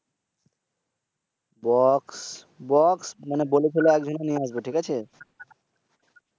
Box box মানি বলেছিল একজন নিয়ে আসবে ঠিক আছে?